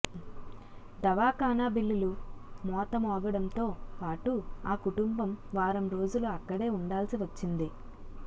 దవాఖానా బిల్లులు మోత మోగడంతో పాటు ఆ కుటుంబం వారం రోజులు అక్కడే ఉండాల్సి వచ్చింది